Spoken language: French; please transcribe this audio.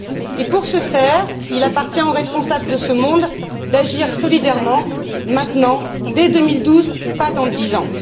Et pour ce faire, il appartient aux responsables de ce monde d'agir solidairement, maintenant, dès 2012, pas dans dix ans.